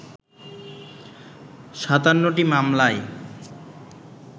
৫৭টি মামলায়